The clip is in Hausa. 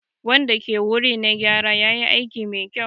Wanda ke wuri na gyara yayi aiki mai kyau.